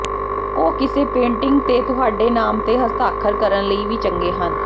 ਉਹ ਕਿਸੇ ਪੇਂਟਿੰਗ ਤੇ ਤੁਹਾਡੇ ਨਾਮ ਤੇ ਹਸਤਾਖਰ ਕਰਨ ਲਈ ਵੀ ਚੰਗੇ ਹਨ